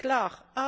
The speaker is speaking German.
Das ist klar.